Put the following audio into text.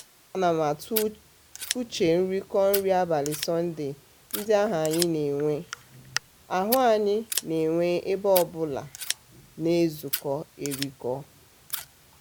a na m atụ uche nrikọ nri abalị sọnde ndị ahụ anyị na-enwe ahụ anyị na-enwe ebe onye ọbụla na-ezukọ erikọ.